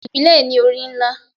Ibile ni ori nla